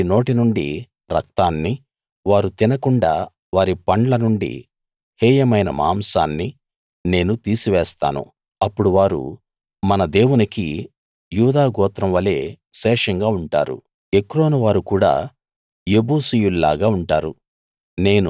వారి నోటి నుండి రక్తాన్ని వారు తినకుండా వారి పండ్ల నుండి హేయమైన మాంసాన్ని నేను తీసివేస్తాను అప్పుడు వారు మన దేవునికి యూదా గోత్రం వలె శేషంగా ఉంటారు ఎక్రోను వారు కూడా యెబూసీయుల్లాగా ఉంటారు